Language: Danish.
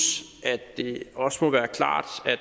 at det også må være klart